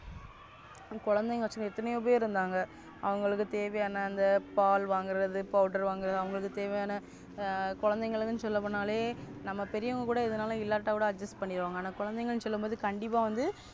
கொழந்தைகள வாச்சினு எத்தனையோபெரு இருந்தாங்க அவங்களுக்கு தேவையான இந்த பால் வாங்குறது Powder வாங்குறது அவங்களுக்கு தேவையான கொழந்தைகளுக்குனு சொல்ல போனாலே நம்ம பெரியவங்கலே எதனோலு இல்லாட்டாகூட Adjust பன்னிருவங்க அனா குழந்தைங்க சொல்லும்போது கண்டிப்பா வந்து